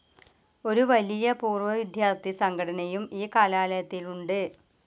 ഒരു വലിയ പൂർവ്വവിദ്യാർത്ഥിസംഘടനയും ഈ കലാലയത്തിലുണ്ട്.